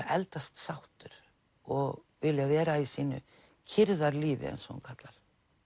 eldast sáttur og vilja vera í sínu kyrrðarlífi eins og hún kallar